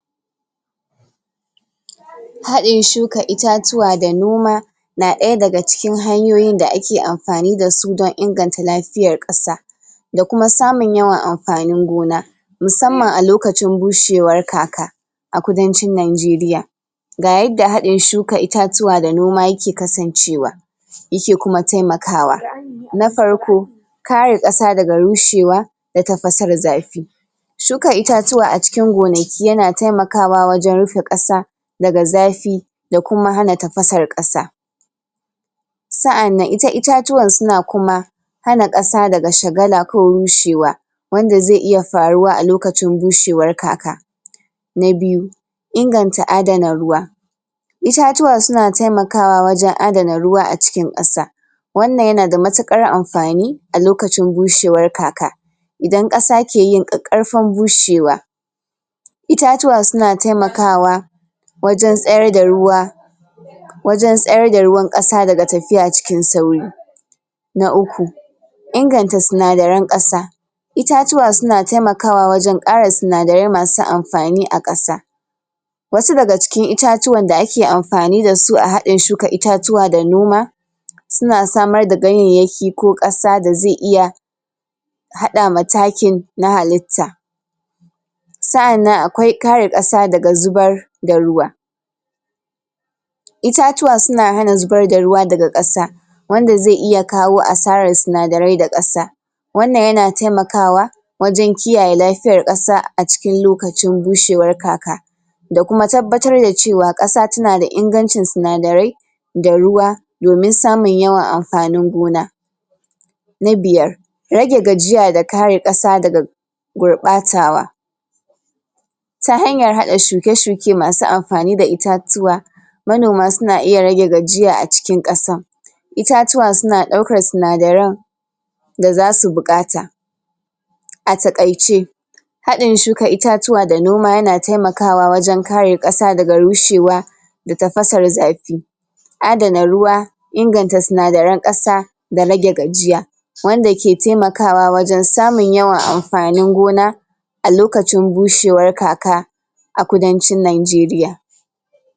hadin shuka itatuwa da noma na daya daga cikin hanyoyin da ake anfani dasu dan inganta lafiyan ƙasa dakuma samun yawan anfani goma musaman alokacin bushewar kaka a kudancin nigeria ga yanda hadin shuka itatuwa da noma yake kasan cewa yaki kuma taimakawa na farko kare ƙasa daga rushewa da tafasar zafi shuka itatuwa acikin gonaki yana taimakawa wajan rufe ƙasa daga zafi dakuma hana tafasar ƙasa sa'anan ita itatuwan suna kuma hana ƙasa daga shagala ko rushewa wanda zai iya faruwa alokacin bushewar kaka na biyu inganta adana ruwa itatuwa suna taimakawa wajan adana ruwa acikin ƙasa wannan yanada matukar anfani alokacin bushewar kaka idan ƙasa kiyin ƙaƙƙarfan bushewa itatuwa suna taimakawa wajan tsayarda ruwa wjan tsayar da ruwan ƙasa daga tafiya cikin sauri na uku inganta sinadarain ƙasa itatuwa suna taimakawa wajan ƙara sinadarai masu anfani a ƙasa wasu daga cikin itatuwan da aki anfani dasu a haɗin shuka itatuwa da noma suna samar da ganyanyaki ko kasa da zai iya haɗa ma takin na halitta sa'anan akwai kare ƙasa daga zubar da ruwa itatuwa suna hana zubar da ruwa daga ƙasa wanda zai iya kawo asaran sinadarai da ƙasa wannan yana taimakawa wajan kiyaye lafiyan ƙasa acikin lokacin bushewar kaka dakuma tabbatar da cewa ƙasa tanada inganci sinadarai da ruwa domin samun yawan anfani gona na biyar rage gajiya da kare ƙasa daga gurɓatawa ta hanyan haɗa shuke-shuke masu anfani da itatuwa manoma suna iya rage gajiya a cikin ƙasa itatuwa suna daukar sinadaran dazasu buƙata ataƙaice hadin shuka itatuwa da noma yana taimakawa wajan kare ƙasa daga rushewa da tafasar zafi adana ruwa inganta sinadaran ƙasa da rage gajiya wanda ki taimakawa wajan samun yawan anfani gona alokacin bushewar kaka a kudancin nigeria